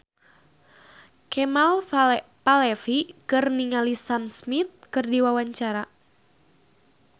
Kemal Palevi olohok ningali Sam Smith keur diwawancara